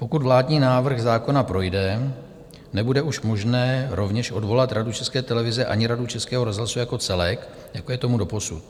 Pokud vládní návrh zákona projde, nebude už možné rovněž odvolat Radu České televize ani Radu Českého rozhlasu jako celek, jako je tomu doposud.